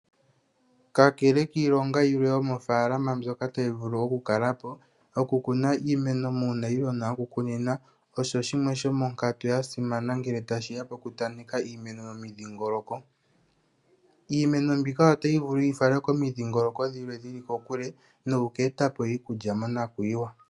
Kakele kiilonga yilwe yomofalama mbyoka tayi vulu okukalapo okukuna iimeno monayilona okukunina osho shimwe shomo nkatu yasimana ngele tashiya mokutaneka iimeno momidhigoloko, Iimeno mbika ota vulu yifale komidhigoloko odhilwe dhili kokule noku eta iikulya mona kuyiwa.